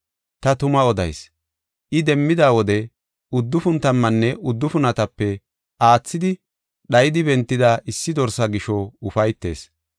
Ta tuma odayis; I demmida wode uddufun tammanne uddufunatape aathidi dhayidi bentida issi dorsa gisho ufaytees.